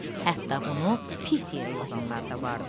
Hətta bunu pis yerə yozanlar da vardı.